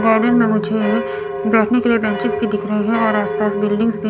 garden में मुझे बैठने के लिए बेंचेस भी दिख रहे हैं और आस पास बिल्डिंग्स भी--